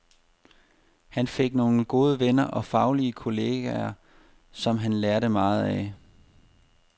Han fik nogle gode venner og faglige kolleger, som han lærte meget af.